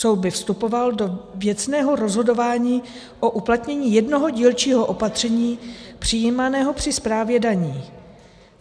Soud by vstupoval do věcného rozhodování o uplatnění jednoho dílčího opatření přijímaného při správě daní.